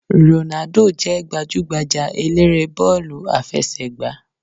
Rònádò jé gbajúgbajà eléré bọ́ọ̀lù àfẹsẹ̀gbá